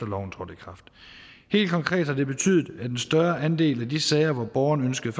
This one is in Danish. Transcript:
loven trådte i kraft helt konkret har det betydet at en større andel af de sager hvor borgerne ønskede